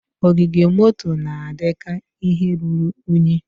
Ogige moto na-adị ka ihe ruru unyi.